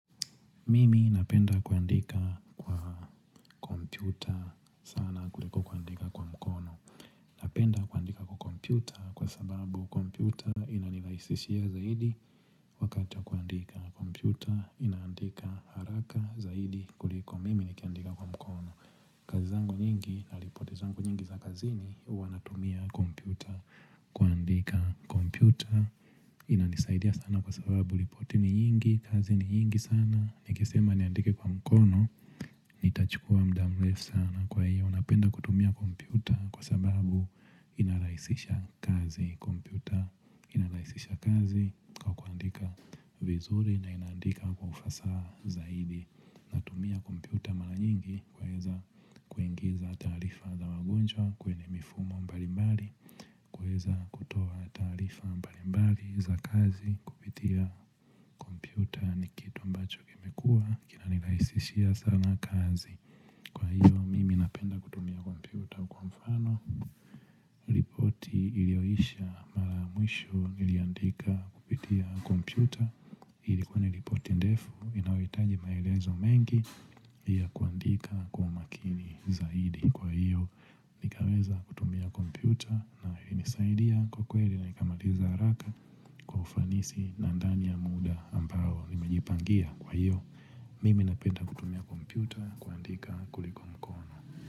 Mimi napenda kuandika kwa computer sana kuliko kuandika kwa mkono Napenda kuandika kwa computer kwa sababu computer inanirahisishia zaidi wakati wa kuandika. Computer inandika haraka zaidi kuliko mimi nikandika kwa mkono. Kazi zangu nyingi na ripoti zangu nyingi za kazini huwa natumia computer kuandika computer inanisaidia sana kwa sababu ripoti ni nyingi, kazi ni nyingi sana, nikisema niandike kwa mkono Nitachukua muda mrefu sana kwa hiyo napenda kutumia kompyuta kwa sababu inarahisisha kazi kompyuta inarahisisha kazi kwaandika vizuri na inandika kwa ufasaha zaidi kutumia kompyuta mara nyingi kwaeza kuingiza tarifa za wagonjwa kwenye mifumo mbalimbali kuweza kutoa tarifa mbalimbali za kazi kupitia komputa ni kitu ambacho kimekua kina nirahisishia sana kazi Kwa hiyo mimi napenda kutumia kompyuta kwa mfano ripoti ilioisha mara mwisho iliandika kupitia kompyuta Ilikua ni ripoti ndefu inaohitaji maelezo mengi ya kuandika kwa umakini zaidi Kwa hiyo nikaweza kutumia kompyuta na ilinisaidia kwa kweli na nikamaliza haraka Kwa ufanisi na ndani ya muda ambao nimejipangia kwa hiyo Mimi napenda kutumia kompyuta kuandika kuliko mkono.